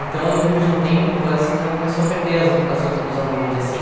Então, depois de um tempo, o Colégio Santana começou a perder as as uh os alunos, assim.